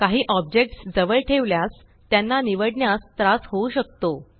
काही ऑब्जेक्ट्स जवळ ठेवल्यास त्यांना निवडण्यास त्रास होऊ शकतो